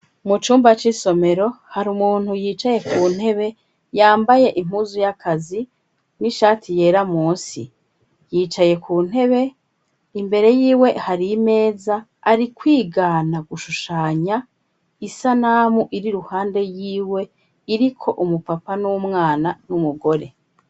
Mu cumba c'isomero hari umuntu yicaye ku ntebe yambaye impuzu y'akazi n'ishati yera munsi. Yicaye ku ntebe imbere y'iwe hari imeza ari kwigana gushushanya isanamu iri ruhande yiwe iriko umupapa n'umwana n'umugore.